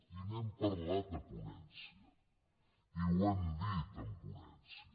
i n’hem parlat a ponència i ho hem dit en ponència